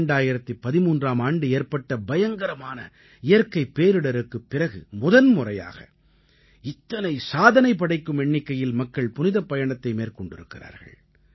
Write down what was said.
2013ஆம் ஆண்டு ஏற்பட்ட பயங்கரமான இயற்கைப் பேரிடருக்குப் பிறகு முதன்முறையாக இத்தனை சாதனை படைக்கும் எண்ணிக்கையில் மக்கள் புனிதப் பயணத்தை மேற்கொண்டிருக்கிறார்கள்